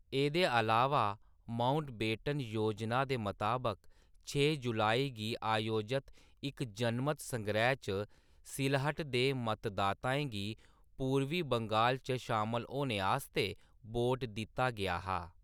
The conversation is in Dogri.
एह्‌‌‌दे अलावा माउंटबेटन योजना दे मताबक, छे जुलाई गी आयोजित इक जनमत संगैह्‌‌ च सिलहट दे मतदाताएं गी पूरबी बंगाल च शामल होने आस्तै वोट दित्ता गेआ हा।